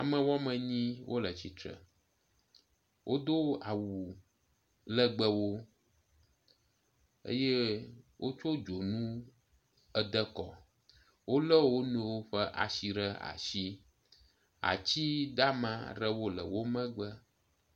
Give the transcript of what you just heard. Ame woamenyi le atsitre. Wodo awu legbewo eye wotso dzonu ede kɔ. Wolé wo nɔewo ƒe asi ɖe asi. Ati dama aɖewo le womegbe.